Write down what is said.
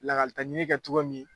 Lakalitɲini kɛ cogo min